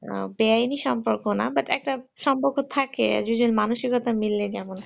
বেআইনি সম্পর্ক না but একটা সম্পর্ক থাকে যে জন মানসিকতা থাকে